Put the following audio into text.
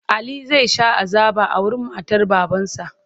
Ali zai sha azaba a wurin matar babansa.